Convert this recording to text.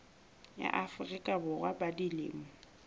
ya afrika borwa ba dilemo